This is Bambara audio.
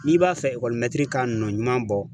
N'i b'a fɛ ekɔli mɛtiri ka nɔ ɲuman bɔ.